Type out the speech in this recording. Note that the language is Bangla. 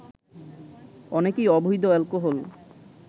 অনেকেই অবৈধ অ্যালকোহল